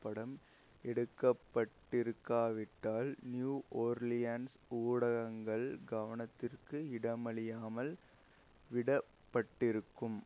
படம் எடுக்கப்பட்டிருக்காவிட்டால் New Orleans ஊடகங்கள் கவனத்திற்கு இடமளியாமல் விடப்பட்டிருக்கும்